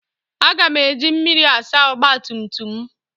Aga m eji mmiri asa ọgba tum tum m.